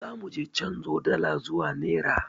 Za muje canzo dala zuwa nera.